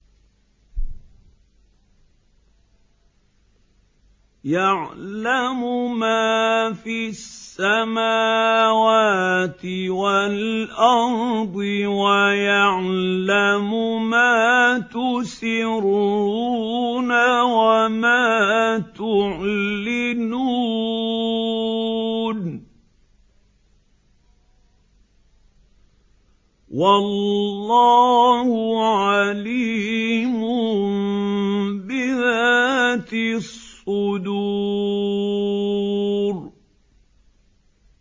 يَعْلَمُ مَا فِي السَّمَاوَاتِ وَالْأَرْضِ وَيَعْلَمُ مَا تُسِرُّونَ وَمَا تُعْلِنُونَ ۚ وَاللَّهُ عَلِيمٌ بِذَاتِ الصُّدُورِ